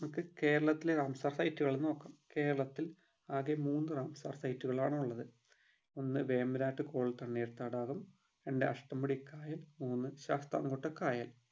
നമുക്ക് കേരളത്തിലെ Ramsar site കളെ നോക്കാം കേരളത്തിൽ ആകെ മൂന്ന് റാംസാർ site കളാണ് ഉള്ളത്. ഒന്ന് വേമ്പനാട്ട് കൊൽ തണ്ണീർത്തടാകം രണ്ട് അഷ്ട്ടമുടി കായൽ മൂന്ന് ശാസ്‌താംകോട്ട കായൽ